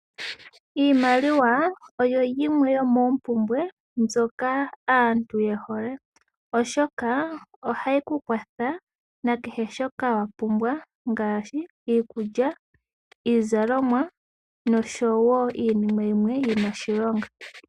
Iimaliwa oyo yimwe yo moompubwe mbyoka aantu yehole oshoka ohayi kukwatha nakehe shoka wapumbwa ngaashi, ikulya, iizalomwa nosho wo iinima yimwe yina oshilonga.